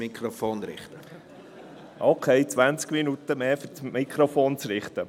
Okay, 20 Minuten mehr fürs Mikrofonrichten.